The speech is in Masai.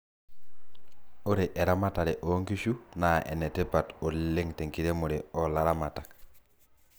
ore eramatare oo nkishu naa enetipat ooleng tenkiremore oo laramatak